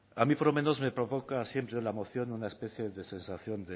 a mí por lo menos me provoca siempre la moción una especia de sensación